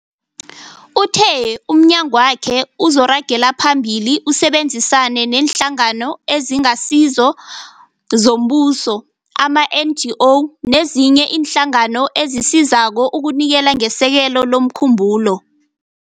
Uthe umnyagwakhe uzoragela phambili usebenzisane neeNhlangano eziNgasizo zoMbuso, ama-NGO nezinye iinhlangano ezisizako ukunikela ngesekelo lomkhumbulo.